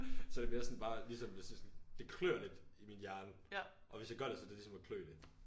Så er det mere sådan bare ligesom hvis det sådan det klør lidt i min hjerne og hvis jeg gør det så er det ligesom at klø det